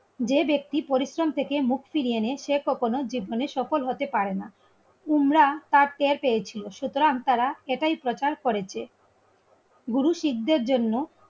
যে ব্যক্তি পরিশ্রম থেকে মুখ ফিরিয়ে এনে সে কখনো জীবনে সফল হতে পারে না. তোমরা তার চেয়ে পেয়েছি. সুতরাং তারা সেটাই প্রচার করেছে. গুরু শিকদের জন্য